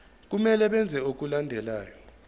kumele benze okulandelayo